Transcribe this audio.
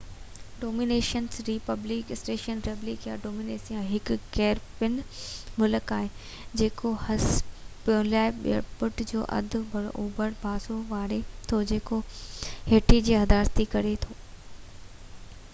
Dominican republic Spanish: ريپبليڪا ڊومينيسانا هڪ ڪيريبين ملڪ آهي جيڪو هسپينيولا جي ٻيٽ جو اڌ اوڀر پاسو ولاري ٿو، جيڪو هيٽي سان حصيداري ڪري ٿو